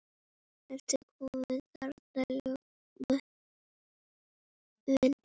Ertu kominn þarna, Ljómi minn.